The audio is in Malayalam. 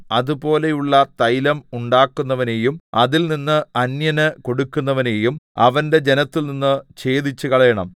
അതുപോലെയുള്ള തൈലം ഉണ്ടാക്കുന്നവനെയും അതിൽനിന്ന് അന്യന് കൊടുക്കുന്നവനെയും അവന്റെ ജനത്തിൽനിന്ന് ഛേദിച്ചുകളയണം